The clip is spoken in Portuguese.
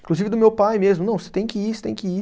Inclusive do meu pai mesmo, não, você tem que ir, você tem que ir.